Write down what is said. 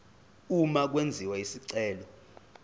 uma kwenziwa isicelo